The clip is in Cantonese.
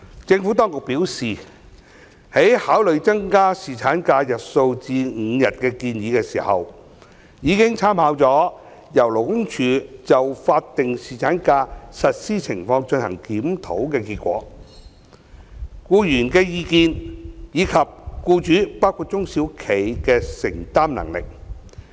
政府當局表示，在考慮增加侍產假日數至5天的建議時，已參考由勞工處就法定侍產假實施情況進行檢討的結果、僱員的意見，以及僱主的承擔能力。